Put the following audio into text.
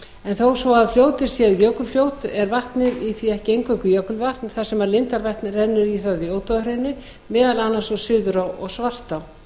en þó svo fljótið sé jökulfljót er vatnið í því ekki eingöngu jökulvatn þar sem lindarvatnið rennur í það í ódáðahrauni meðal annars suður úr svartá